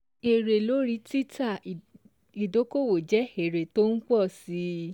Èrè lórí títa ìdókòwò jẹ́ èrè tó ń ń pọ̀ si